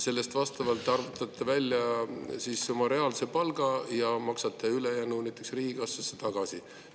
Vastavalt sellele arvutate välja oma reaalse palga ja maksate ülejäänu näiteks riigikassasse tagasi.